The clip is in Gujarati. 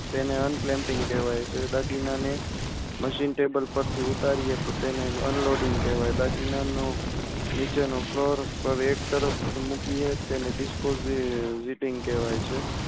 તેને unclamping કહેવાય છે. દાગીના ને machine table પર થી ઉતારીએ તો તેને unloading કહેવાય છે. બાકીના નું નીચેના floor praveg તરફ મૂકે તેને desposing કહેવાય છે.